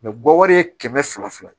bɔwari ye kɛmɛ fila ye